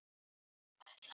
Tífall og Tútur